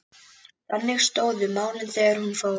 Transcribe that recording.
Þannig stóðu málin þegar hún fór.